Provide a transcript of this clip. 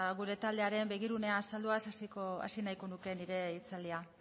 gure taldearen begirunea azalduaz hasi nahiko nuke nire hitzaldia